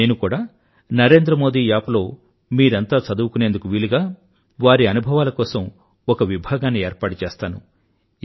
నేను కూడా నరేంద్ర మోదీ యాప్ లో మీరంతా చదువుకునేందుకు వీలుగా వారి అనుభవాల కోసం ఒక విభాగాన్ని ఏర్పాటుచేస్తాను